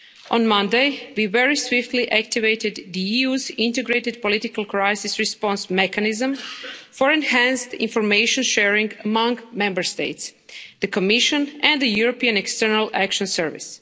On Monday, we very swiftly activated the EU's Integrated Political Crisis Response mechanism for enhanced information sharing among Member States, the Commission and the European External Action Service.